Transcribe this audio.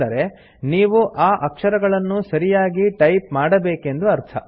ಅಂದರೆ ನೀವು ಆ ಅಕ್ಷರಗಳನ್ನು ಸರಿಯಾಗಿ ಟೈಪ್ ಮಾಡಬೇಕೆಂದು ಅರ್ಥ